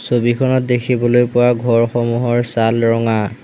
ছবিখনত দেখিবলৈ পোৱা ঘৰসমূহৰ ছাল ৰঙা।